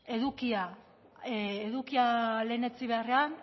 edukia lehenetsi beharrean